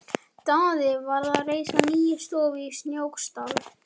Daði var að reisa nýja stofu í Snóksdal.